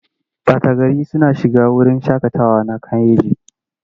Ɓata gari suna shiga wurin shaƙatawa na Kayenji.